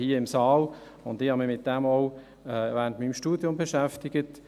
Ich habe mich damit auch während meines Studiums beschäftigt.